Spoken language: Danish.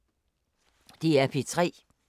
DR P3